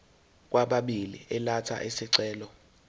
kwababili elatha isicelo